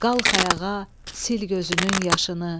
Qalx ayağa, sil gözünün yaşını.